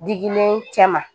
Digilen cɛ ma